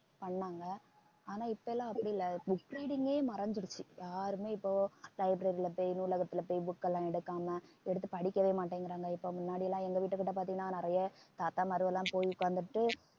பண்ணாங்க ஆனா இப்ப எல்லாம் அப்படி இல்லை book reading ஏ மறந்திருச்சு யாருமே யாருமே இப்போ library போய் நூலகத்துல போய் book எல்லாம் எடுக்காம எடுத்து படிக்கவே மாட்டேங்குறாங்க இப்ப முன்னாடி எல்லாம் எங்க வீட்டுக்கிட்ட பார்த்தீங்கன்னா நிறைய தாத்தாமார்கெல்லாம் போய் உட்கார்ந்துட்டு